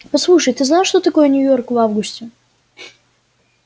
послушай ты знаешь что такое нью-йорк в августе